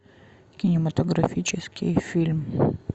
кинематографический фильм